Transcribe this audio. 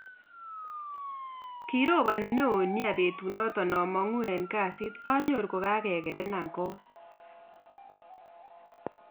kirobani neo nia petunaton amanguu en gasiit anyoru kogagegerenan koot